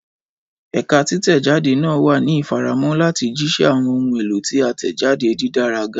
Ẹka titẹjade naa wa ni ifaramọ lati jiṣẹ awọn ohun elo ti a tẹjade didara ga.